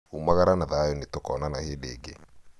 umagara na thayũ nĩtũkoonana hĩndĩ ĩngĩ